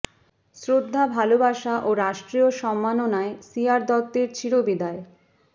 শ্রদ্ধা ভালোবাসা ও রাষ্ট্রীয় সম্মাননায় সি আর দত্তের চিরবিদায়